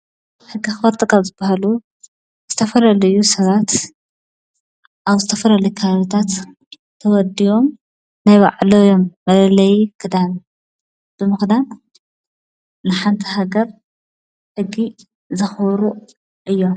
ሕጊ ኣክበርቲ ካብ ዝባሃሉ ዝተፈላለዩ ሰባት ኣብ ዝተፈላለዩ ከባቢታት ተወዲቦም ናይ ባዕሎም መለለይ ክዳን ብምክዳን ንሓንቲ ሃገር ሕጊ ዘኽብሩ እዮም።